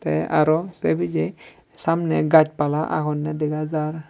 te aro se pije samne gaj pala agonne dega jar.